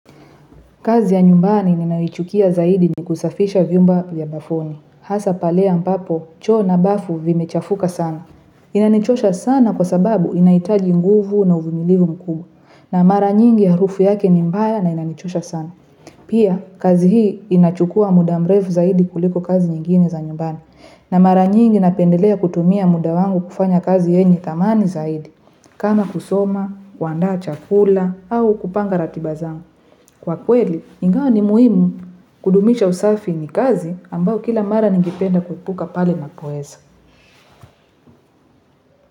Kazi ya nyumbani ninayoichukia zaidi ni kusafisha vyumba vya bafuni. Hasa pale ambapo, choo na bafu vimechafuka sana. Inanichosha sana kwa sababu inahitaji nguvu na uvimilivu mkubwa. Na mara nyingi harufu yake ni mbaya na inanichosha sana. Pia, kazi hii inachukua muda mrefu zaidi kuliko kazi nyingine za nyumbani. Na mara nyingi napendelea kutumia muda wangu kufanya kazi yenye thamani zaidi. Kama kusoma, kuandaa chakula, au kupanga ratiba zangu. Kwa kweli, ingawa ni muhimu kudumisha usafi ni kazi, ambao kila mara ningependa kuepuka pale ninapoweza.